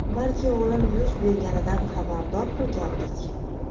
balki o‘lim yuz berganidan xabardor qilgandik.